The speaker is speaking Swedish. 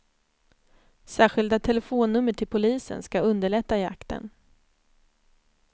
Särskilda telefonnummer till polisen ska underlätta jakten.